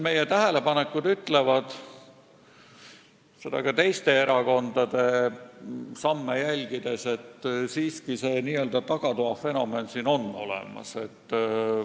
Meie tähelepanekud ütlevad – ka teiste erakondade samme jälgides –, et n-ö tagatoa fenomen on siiski olemas.